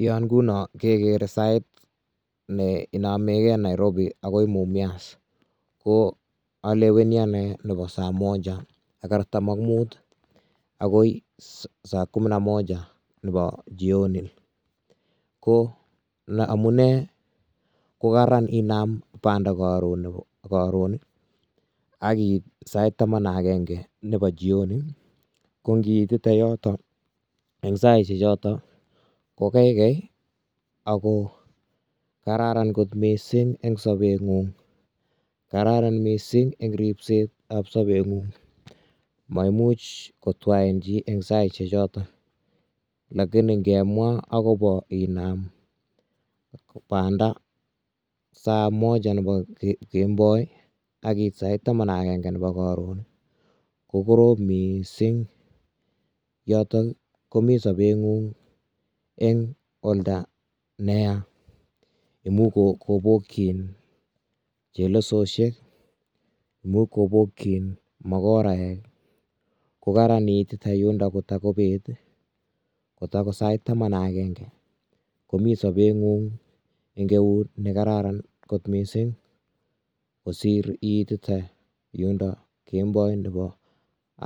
Yon ngunon keger sait ne inamegei Nairobi akoi Mumias, ko aleweni anee nebo saa Moja ak artam ak Mut akoi saa kumi na Moja nebo Jioni, ko amune ko Karan inam banda karon akiit sai taman ak akenge nebo Jioni ko ngiitite yoton eng saisyek choton ko kaikai ako kararan kot mising eng sabengung , Karan mising eng ripsetab sabengung ,maimuch kotwain chi eng saisyek choton, lakini ngemwa akobo inam banda saa Moja nebo kemboi akiit sait taman ak akenge nebo koron ko korom mising yoton komi sabengung eng olda neya imuch kobokyin chelesosyek, imuch kobokyin makoraek kokararan iitite yundo kotako bet kotako sait taman ak akenge, komi sabengung eng neut nekararan kot mising kosir iitite yundo kemboi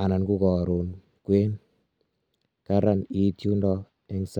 anan ko karon kwenu Karan it yundo eng sait.